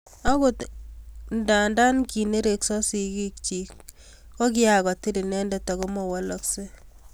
akot nda kinereksot sigik chich, kiakutil inendet aku mawolei